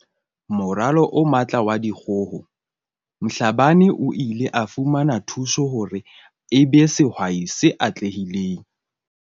Moralo o Matla wa Dikgoho Mhlabane o ile a fumana thuso hore e be sehwai se atlehileng.